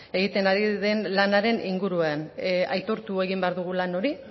egiten ari den lanaren inguruan aitortu egin behar dugu lan hori